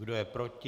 Kdo je proti?